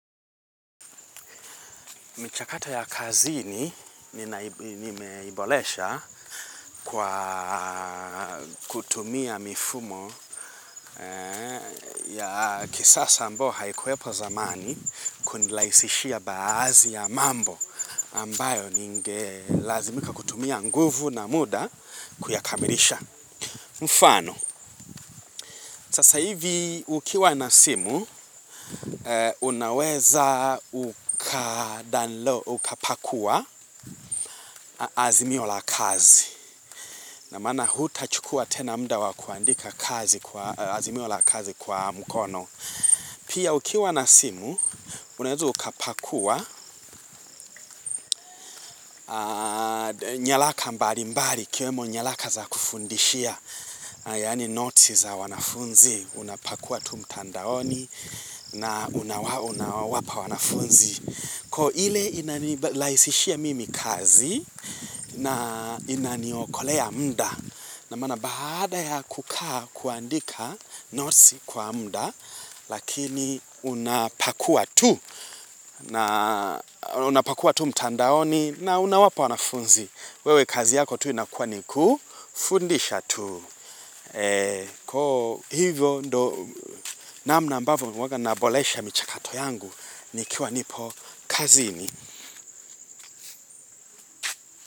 Michakata ya kazini nimeibolesha kwa kutumia mifumo ya kisasa ambao haikuwepo zamani kundilaisishia baazi ya mambo ambayo ninge lazimika kutumia nguvu na muda kuyakamilisha. Mfano, sasa hivi ukiwa nasimu, unaweza ukapakua azimio la kazi. Namaana huta chukua tena mda wakuandika azimio la kazi kwa mkono. Pia ukiwa nasimu, unaweza ukapakua nyalaka mbali mbali, ikiwemo nyalaka za kufundishia. Yani noti za wanafunzi, unapakua tu mtandaoni na unawapa wanafunzi. Ko ile inalaisishia mimi kazi na inaniokolea mda. Na mana baada ya kukaa kuandika noti kwa mda, lakini unapakua tu mtandaoni na unawapa wanafunzi. Wewe kazi yako tu inakua ni kufundisha tu. Kwa hivyo ndo namna ambavo huwaga nabolesha michakato yangu ni kiwa nipo kazini.